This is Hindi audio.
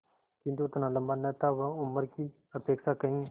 किंतु उतना लंबा न था वह उम्र की अपेक्षा कहीं